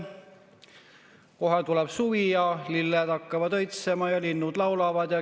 Kohe tuleb suvi, lilled hakkavad õitsema ja linnud laulavad.